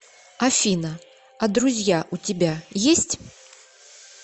афина а друзья у тебя есть